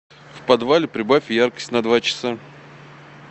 в подвале прибавь яркость на два часа